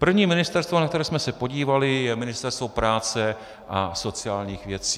První ministerstvo, na které jsme se podívali, je Ministerstvo práce a sociálních věcí.